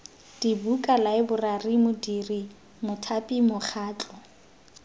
dibuka laeborari modiri mothapi mokgatlho